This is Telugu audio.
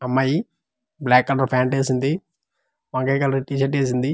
అమ్మాయి బ్లాక్ కలర్ ప్యాంట్ వేసింది వంకాయి కలర్ టీ షర్ట్ వేసింది.